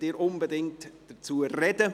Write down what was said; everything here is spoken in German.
Möchten Sie unbedingt dazu sprechen?